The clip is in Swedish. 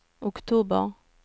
oktober